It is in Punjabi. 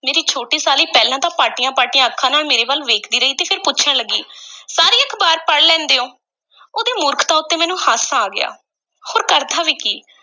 ਮੇਰੀ ਛੋਟੀ ਸਾਲੀ ਪਹਿਲਾਂ ਤਾਂ ਪਾਟੀਆਂ-ਪਾਟੀਆਂ ਅੱਖਾਂ ਨਾਲ ਮੇਰੇ ਵੱਲ ਵੇਖਦੀ ਰਹੀ, ਤੇ ਫਿਰ ਪੁੱਛਣ ਲੱਗੀ ਸਾਰੀ ਅਖ਼ਬਾਰ ਪੜ੍ਹ ਲੈਂਦੈਂ ਹੋ? ਉਹਦੀ ਮੂਰਖਤਾ ਉੱਤੇ ਮੈਨੂੰ ਹਾਸਾ ਆ ਗਿਆ, ਹੋਰ ਕਰਦਾ ਵੀ ਕੀ?